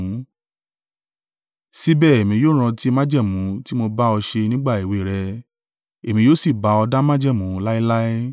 Síbẹ̀ èmi yóò rántí májẹ̀mú tí mo bá ọ ṣe nígbà èwe rẹ, èmi yóò sì bá ọ dá májẹ̀mú láéláé.